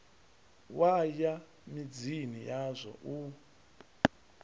wa ya midzini yazwo u